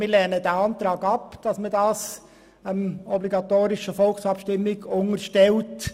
Wir lehnen den Antrag ab, das StG der obligatorischen Volksabstimmung zu unterstellen.